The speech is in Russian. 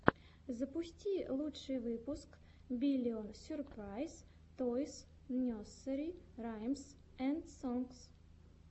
запусти лучший выпуск биллион сюрпрайз тойс несери раймс энд сонгс